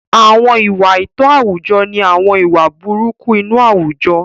Àwọn ìwà àìtọ́ àwùjọ ni àwọn ìwà burúkú inú àwùjọ.